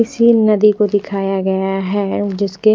इसी नदी को दिखाया गया है जिसके--